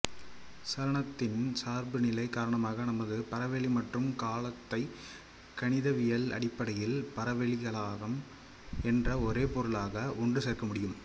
சலனத்தின் சார்புநிலை காரணமாக நமது பரவெளி மற்றும் காலத்தை கணிதவியல் அடிப்படையில் பரவெளிக்காலம் என்ற ஒரே பொருளாக ஒன்றுசேர்க்க முடியும்